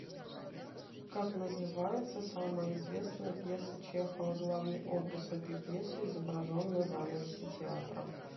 как называется самая известная пьеса чехова главный образ этой пьесы изображен на занавесе театра